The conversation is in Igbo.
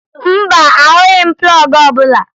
Mba, ahụghị m plọọgụ ọbụla